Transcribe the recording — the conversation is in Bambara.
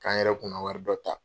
K'an yɛrɛ kunna wari dɔ ta